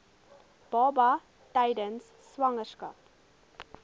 baba tydens swangerskap